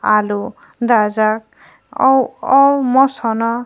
alu dajak ao ao moso no.